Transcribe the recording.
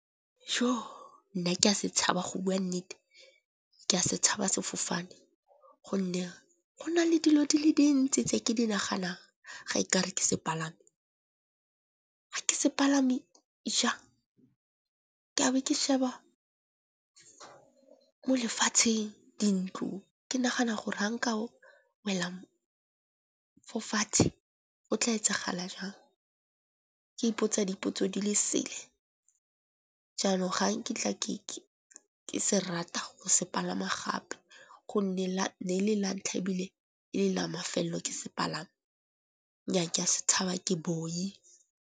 Jo! nna ke a se tshaba go bua nnete ke a se tshaba sefofane gonne go na le dilo di le dintsi tse ke di naganang ga nkare ke se palama. Ga ke sepalama di jang ka be ke sheba mo lefatsheng, di ntlo ke nagana gore ha nka o wela fo fatshe o tla etsagala jang. Ke ipotsa dipotso di le sele jaanong ga nkitla ke se rata go se palama gape go nne ne la ntlha ebile e le la mafelelo ke se palama. Nyaa ka se tshaba ke boi.